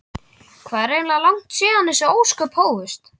Hvað er eiginlega langt síðan þessi ósköp hófust?